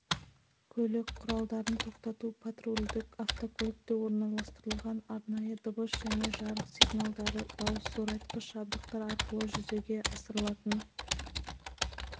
көлік құралдарын тоқтату патрульдік автокөлікте орналастырылған арнайы дыбыс және жарық сигналдары дауыс зорайтқыш жабдықтар арқылы жүзеге асырылатын